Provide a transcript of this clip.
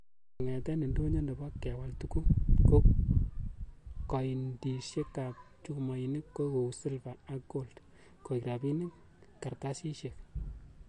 Kongeten indonyo nebo kewal tuguk, ko koindisiekab chumoinik ko u silva ak kold koik rabinikab kartasisiek.